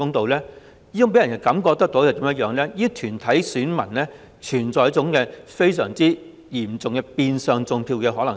這其實會予人一種感覺，就是這些團體的選民中存在着相當嚴重的變相"種票"可能性。